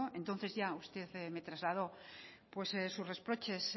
usted me trasladó sus reproches